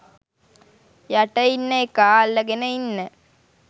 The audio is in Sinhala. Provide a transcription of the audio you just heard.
යට ඉන්න එකා අල්ලගෙන ඉන්න